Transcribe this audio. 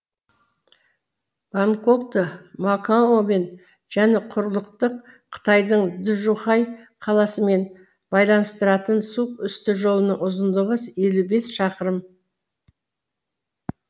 гонконгты макаомен және құрлықтық қытайдың джухай қаласымен байланыстыратын су үсті жолының ұзындығы елу бес шақырым